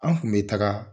An kun bɛ taga